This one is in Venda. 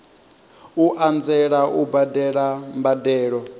u anzela u badela mbadelo